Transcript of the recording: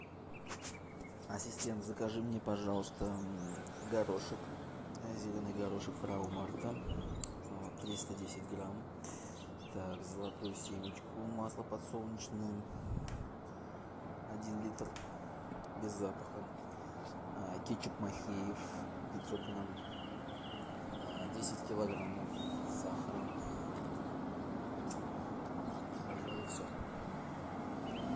ассистент закажи мне пожалуйста горошек зеленый горошек фрау марта триста десять грамм так золотую семечку масло подсолнечное один литр без запаха кетчуп махеев пятьсот грамм десять килограммов сахара и пожалуй все